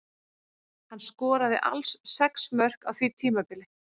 Hann skoraði alls sex mörk á því tímabili.